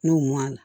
N'o mɔna